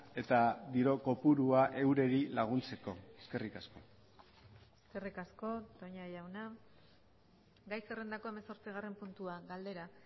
eta diru kopurua eurei laguntzeko eskerrik asko eskerrik asko toña jauna gai zerrendako hemezortzigarren puntua galdera